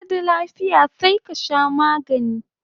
Baka da lafiya sai ka sha magani